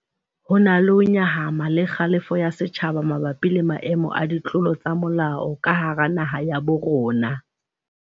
Ho na le ho nyahama le kgalefo ya setjhaba mabapi le maemo a ditlolo tsa molao ka hara naha ya bo rona.